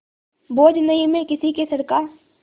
बोझ नहीं मैं किसी के सर का